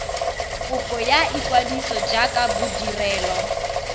kopo ya ikwadiso jaaka bodirelo